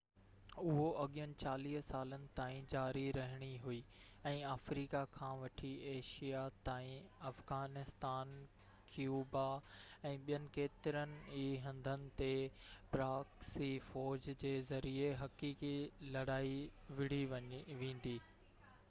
اهو اڳين 40 سالن تائين جاري رهڻي هئي ۽ آفريقا کان وٺي ايشيا تائين افغانستان ڪيوبا ۽ ٻين ڪيترن ئي هنڌن تي پراڪسي فو ج جي ذريعي حقيقي لڙائي وڙهي ويندي